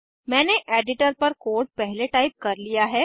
मैंने एडिटर पर कोड पहले टाइप कर लिया है